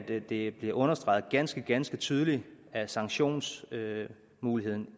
det bliver understreget ganske ganske tydeligt at sanktionsmuligheden